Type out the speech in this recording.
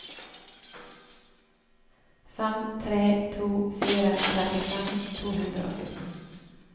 fem tre to fire trettifem to hundre og fjorten